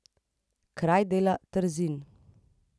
Kraj dela Trzin.